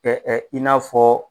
Ɛ ɛ i n'a fɔ